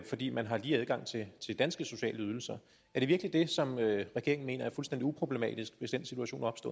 fordi man har lige adgang til danske sociale ydelser er det virkelig det som regeringen mener er fuldstændig uproblematisk hvis den situation opstår